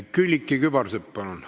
Külliki Kübarsepp, palun!